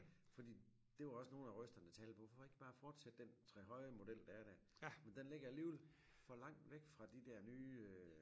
fordi det jo også nogle af røsterne der tale på hvorfor ikke bare fortsætte den trehøje model der er der men den ligger alligevel for langt væk fra de der nye øh